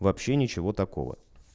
вообще ничего такого